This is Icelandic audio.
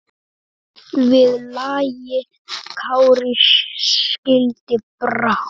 Við lagi Kári skildi brá.